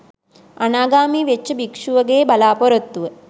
අනාගාමී වෙච්ච භික්ෂුවගේ බලාපොරොත්තුව